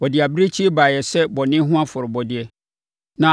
Wɔde abirekyie baeɛ sɛ bɔne ho afɔrebɔdeɛ